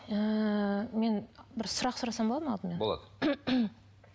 ыыы мен бір сұрақ сұрасам болады ма алдымен болады